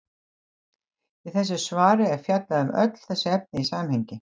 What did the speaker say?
Í þessu svari er fjallað um öll þessi efni í samhengi.